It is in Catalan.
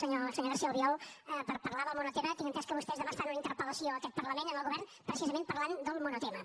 senyor garcía albiol per parlar del monotema tinc entès que vostès demà fan una interpel·lació en aquest parlament al govern precisament parlant del monotema